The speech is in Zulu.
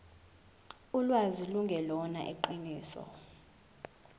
ulwazi lungelona iqiniso